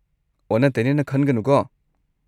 ꯑꯣꯟꯅ ꯇꯩꯅꯅ ꯈꯟꯒꯅꯨꯀꯣ?